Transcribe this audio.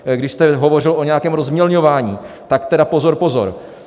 Když jste hovořil o nějakém rozmělňování, tak tedy pozor, pozor!